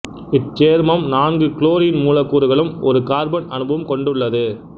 இச்சேர்மம் நான்கு குளோரின் மூலக்கூறுகளும் ஒரு கார்பன் அணுவும் கொண்டுள்ளது